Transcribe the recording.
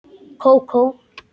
Kókó?